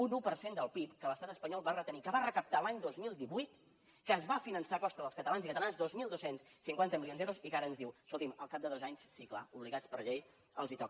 un un per cent del pib que l’estat espanyol va retenir que va recaptar va l’any dos mil divuit que es va finançar a costa dels catalans i catalanes dos mil dos cents i cinquanta milions d’euros i que ara ens diu escolti’m al cap de dos anys sí clar obligats per llei els toca